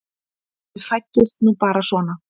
Við fæddumst nú bara svona.